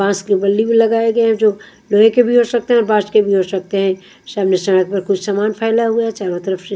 पास की गल्ली में लगाए गए हैं जो लोहे के भी हो सकते हैं और बांस के हो सकते हैं सामने सडक पर कुछ सामान फैला हुआ है चारो तरफ से।